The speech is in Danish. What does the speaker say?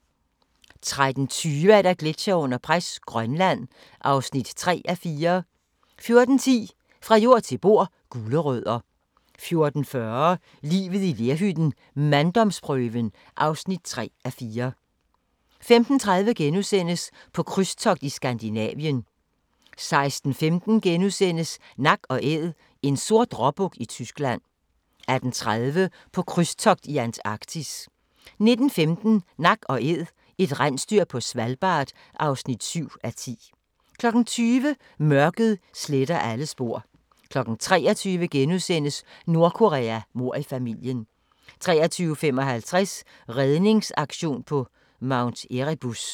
13:20: Gletsjere under pres – Grønland (3:4) 14:10: Fra jord til bord: Gulerødder 14:40: Livet i lerhytten - manddomsprøven (3:4) 15:30: På krydstogt i Skandinavien * 16:15: Nak & Æd – en sort råbuk i Tyskland * 18:30: På krydstogt i Antarktis 19:15: Nak & Æd – et rensdyr på Svalbard (7:10) 20:00: Mørket sletter alle spor 23:00: Nordkorea: Mord i familien * 23:55: Redningsaktion på Mount Erebus